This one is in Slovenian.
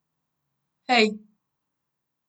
Hej!